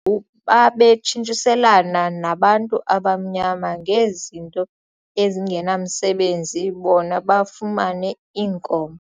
ngu babetshintshiselana nabantu abamnyama ngezinto ezingenamsebenzi bona bafumane iinkomo.